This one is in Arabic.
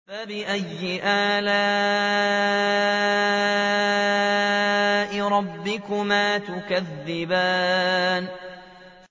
فَبِأَيِّ آلَاءِ رَبِّكُمَا تُكَذِّبَانِ